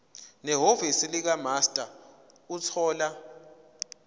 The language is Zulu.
nehhovisi likamaster ukuthola